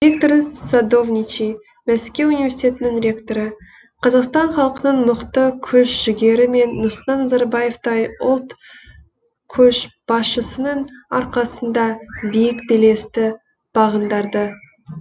виктор садовничий мәскеу университетінің ректоры қазақстан халқының мықты күш жігері мен нұрсұлтан назарбаевтай ұлт көшбасшысының арқасында биік белесті бағындарды